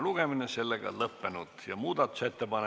Muudatusettepanekute esitamise tähtaeg on 29. aprill kell 17.15.